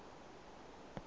fa o ya kwa nageng